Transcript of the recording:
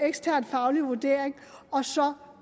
ekstern faglig vurdering